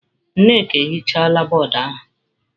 Nneka ehichala bọọdụ ahụ.